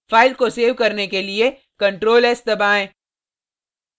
file को save करने के लिए ctrl+s दबाएँ